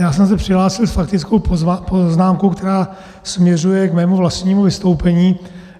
Já jsem se přihlásil s faktickou poznámkou, která směřuje k mému vlastnímu vystoupení.